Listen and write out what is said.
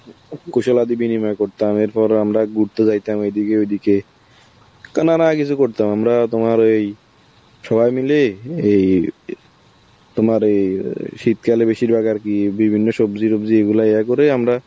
কুশলাবিনিময় করতাম, এরপরে আমরা ঘুরতে যাইতাম এদিকে ঐদিকে, কিছু করতাম আমরা তোমার ওই সবাই মিলে হে ই~ অ তোমার এই~ আ শীত কালে বেশিরভাগ আর কি বিভিন্ন সবজি তবজি এইগুলা ইয়া করে আমরা